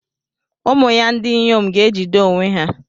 Ụmụ ya ndị inyom ga-ejide onwe ha.